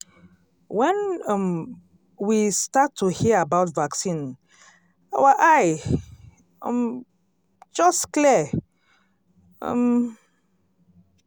when um we start to hear about vaccine our eye um just clear um